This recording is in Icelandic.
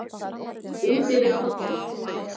Útyfir pollinn